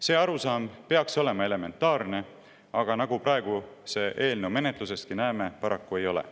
See arusaam peaks olema elementaarne, aga nagu me praegu selle eelnõu menetlusestki näeme, paraku ei ole.